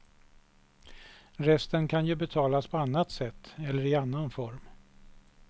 Resten kan ju betalas på annat sätt eller i annan form.